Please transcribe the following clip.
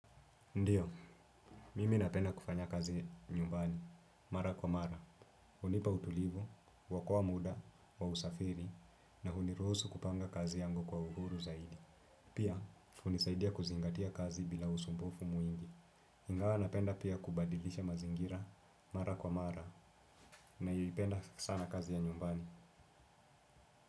Ndiyo, mimi napenda kufanya kazi nyumbani, mara kwa mara. Hunipa utulivu, huokoa muda, wa usafiri, na huniruhusu kupanga kazi yangu kwa uhuru zaidi. Pia, hunisaidia kuzingatia kazi bila usumbufu mwingi. Ingawa napenda pia kubadilisha mazingira, mara kwa mara, naipenda sana kazi ya nyumbani.